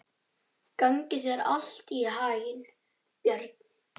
Gangi þér allt í haginn, Björn.